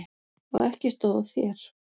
Og ekki stóð á þér.